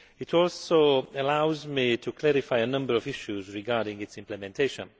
It also allows me to clarify a number of issues regarding its implementation.